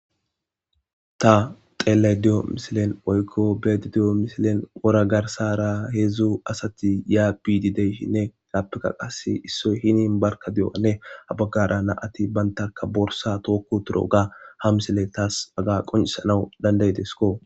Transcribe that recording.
ta xeellay diyo misilen oykko beedi diyo misilen wora garsara heedzdzu asati ya bididey hinne gaappeka qas issoy hini barka di77anne abaggara na ati bantaka borsa tookko turo ga ha misile taas aga qoncisanawu dandaydesko